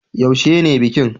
Yaushe ne bikin